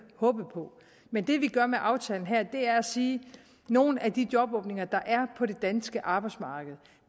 håbe på men det vi gør med aftalen her er at sige at nogle af de jobåbninger der er på det danske arbejdsmarked